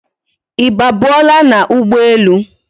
I ba buo la na ugbo elu?